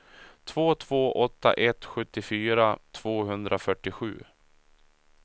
två två åtta ett sjuttiofyra tvåhundrafyrtiosju